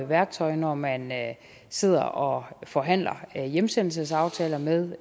værktøj når man sidder og forhandler hjemsendelsesaftaler med